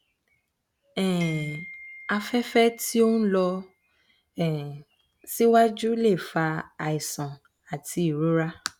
um afẹfẹ tí ó ń lọ um síwájú lè fa àìsàn àti ìrora